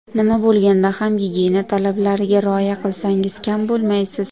Nima bo‘lganda ham gigiyena talablariga rioya qilsangiz kam bo‘lmaysiz.